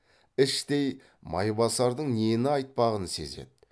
іштей майбасардың нені айтпағын сезеді